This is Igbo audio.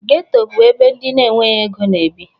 Geto bụ ebe ndị enweghi ego na-ebi.